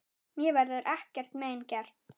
Mér verður ekkert mein gert.